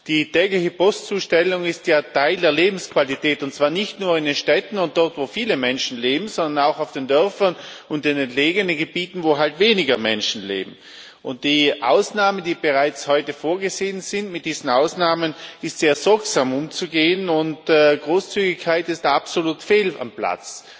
Die tägliche Postzustellung ist ja Teil der Lebensqualität, und zwar nicht nur in den Städten und dort, wo viele Menschen leben, sondern auch auf den Dörfern und in entlegenen Gebieten, wo halt weniger Menschen leben. Und mit den Ausnahmen, die bereits heute vorgesehen sind, ist sehr sorgsam umzugehen, und Großzügigkeit ist da absolut fehl am Platz.